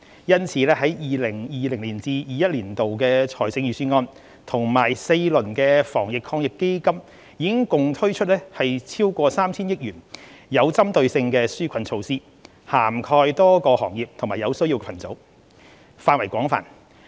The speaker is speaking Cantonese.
因此 ，2020-2021 年度財政預算案及4輪防疫抗疫基金已共推出逾 3,000 億元具針對性的紓困措施，涵蓋多個行業和有需要群組，範圍廣泛。